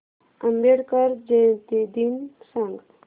आंबेडकर जयंती दिन सांग